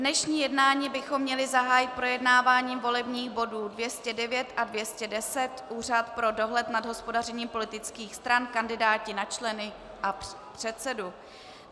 Dnešní jednání bychom měli zahájit projednáváním volebních bodů 209 a 210, Úřad pro dohled nad hospodařením politických stran, kandidáti na členy a předsedu.